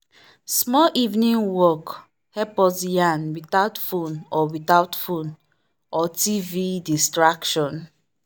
small evening walk help us yarn without phone or without phone or tv distraction.